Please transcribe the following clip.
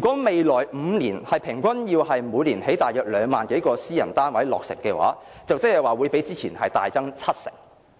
5年每年平均落成2萬多個私人單位，即是要較之前的建屋量大增七成。